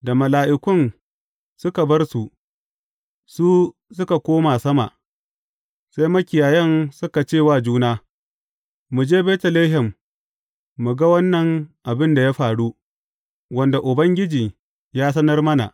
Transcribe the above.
Da mala’ikun suka bar su, su suka koma sama, sai makiyayan suka ce wa juna, Mu je Betlehem mu ga wannan abin da ya faru, wanda Ubangiji ya sanar mana.